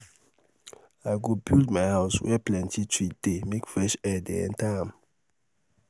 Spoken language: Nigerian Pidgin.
i go build my house were plenty tree dey make fresh air dey enta am.